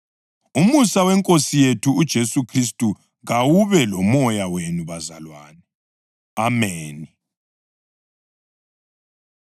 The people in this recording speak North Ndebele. Umusa weNkosi yethu uJesu Khristu kawube lomoya wenu bazalwane. Ameni.